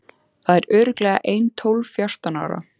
Það eru örugglega ein tólf fjórtán ár.